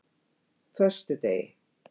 föstudegi